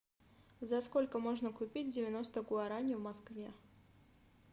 за сколько можно купить девяносто гуарани в москве